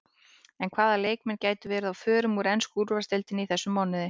En hvaða leikmenn gætu verið á förum úr ensku úrvalsdeildinni í þessum mánuði?